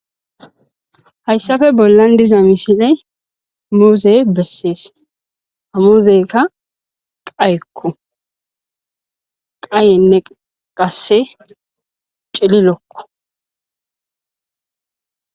Hayssafe bollan diza misile muuzey bessees hamuuzeyka qayekko qayenne qasse cililokko.